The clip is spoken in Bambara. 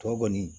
Tɔ kɔni